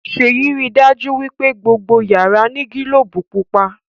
Seyi rí dájú wípé gbogbo yàrá ní gilobu pupa.